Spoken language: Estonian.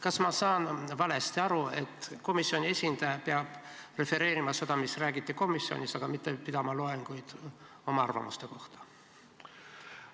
Kas ma saan valesti aru, et komisjoni esindaja peab refereerima seda, mida räägiti komisjonis, aga mitte pidama loenguid oma arvamuste kohta?